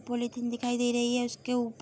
polythene दिखाई दे रही है उसके ऊप --